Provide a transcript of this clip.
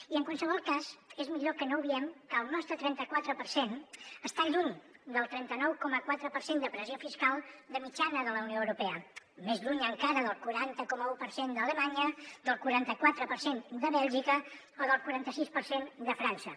i en qualsevol cas és millor que no obviem que el nostre trenta quatre per cent està lluny del trenta nou coma quatre per cent de pressió fiscal de mitjana de la unió europea més lluny encara del quaranta coma un per cent d’alemanya del quaranta quatre per cent de bèlgica o del quaranta sis per cent de frança